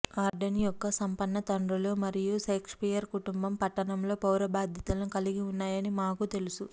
ఆర్డెన్ యొక్క సంపన్న తండ్రులు మరియు షేక్స్పియర్ కుటుంబం పట్టణంలో పౌర బాధ్యతలను కలిగి ఉన్నాయని మాకు తెలుసు